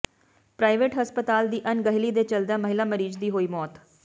private ਹਸਪਤਾਲ ਦੀ ਅਣਗਹਿਲੀ ਦੇ ਚਲਦਿਆਂ ਮਹਿਲਾ ਮਰੀਜ਼ ਦੀ ਹੋਈ ਮੌਤ